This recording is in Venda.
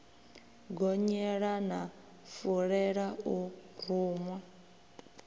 gonyela na fulela o ruṅwa